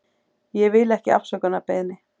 Ég vil ekki afsökunarbeiðni.